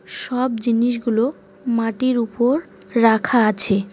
সব জিনিসগুলো মাটির উপর রাখা আছে।